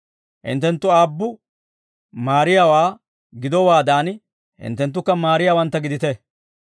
Hinttenttu aabbu maariyaawaa gidowaadan hinttenttukka maariyaawantta gidite.